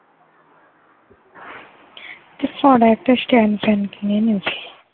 তো শোন একটা stand fan কিনে নিস ।